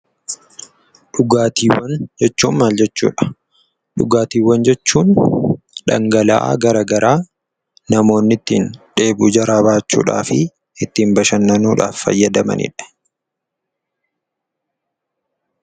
Dhugaatiiwwan jechuun maal jechuu dha? Dhugaatiiwwan jechuun dhangala'aa garagaraa namoonni ittiin dheebuu jaraa ba'achuudhaa fi ittiin bashannanuudhaaf fayyadamanii dha.